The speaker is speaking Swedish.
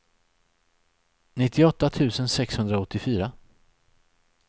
nittioåtta tusen sexhundraåttiofyra